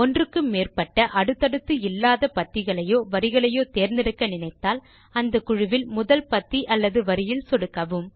ஒன்றுக்கு மேற்பட்ட அடுத்தடுத்து இல்லாத பத்திகளையோ வரிகளையோ தேர்ந்தெடுக்க நினைத்தால் அந்த குழுவில் முதல் பத்தி அல்லது வரியில் சொடுக்கவும்